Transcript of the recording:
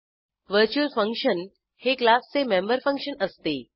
virtual function हे क्लासचे member function असते